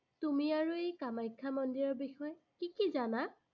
তুমি আৰু এই কামাখ্যা মন্দিৰৰ বিষয়ে কি কি জানা?